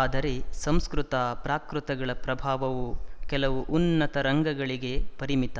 ಆದರೆ ಸಂಸ್ಕೃತ ಪ್ರಾಕೃತಗಳ ಪ್ರಭಾವವು ಕೆಲವು ಉನ್ನತ ರಂಗಗಳಿಗೆ ಪರಿಮಿತ